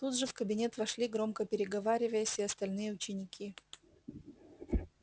тут же в кабинет вошли громко переговариваясь и остальные ученики